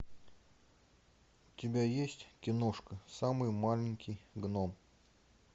у тебя есть киношка самый маленький гном